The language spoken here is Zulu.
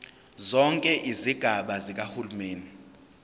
zonke izigaba zikahulumeni